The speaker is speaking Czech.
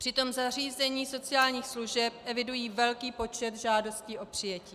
Přitom zařízení sociálních služeb evidují velký počet žádostí o přijetí.